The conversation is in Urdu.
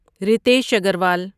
رتیش اگروال